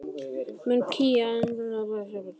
Mun Kína einhvern tímann berjast um heimsmeistaratitilinn?